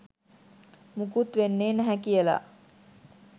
මුකුත් වෙන්නෙ නැහැ කියලා